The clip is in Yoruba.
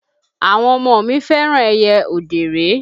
Àwọn ọmọ mi fẹ́ràn ẹyẹ òdèré.